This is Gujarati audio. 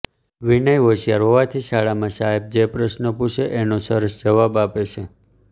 વિનય હોશિયાર હોવાથી શાળામાં સાહેબ જે પ્રશ્નો પૂછે એનો સરસ જવાબ આપે છે